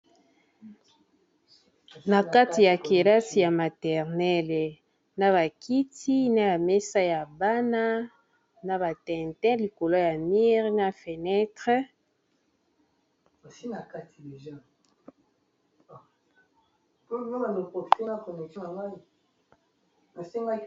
Na kati ya kelasi ya maternele na ba kiti na ya mesa ya bana na ba tintin likolo ya mire na fenetre.